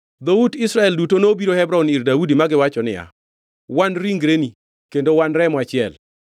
Dhout Israel duto nobiro Hebron ir Daudi ma giwacho niya, “Wan ringreni kendo wan remo achiel.